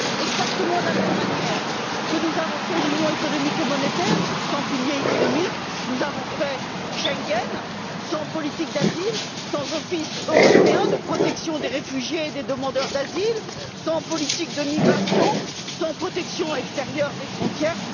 Exactement de la même manière que nous avons fait l'union économique et monétaire sans pilier économique, nous avons fait Schengen sans politique d'asile, sans office européen de protection des réfugiés et des demandeurs d'asile, sans politique de migration, sans protection extérieure des frontières.